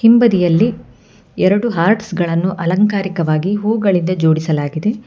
ಹಿಂಬದಿಯಲ್ಲಿ ಎರಡು ಆರ್ಟ್ಸ್ ಗಳನ್ನು ಅಲಂಕಾರಿಕವಾಗಿ ಹೂಗಳಿಂದ ಜೋಡಿಸಲಾಗಿದೆ.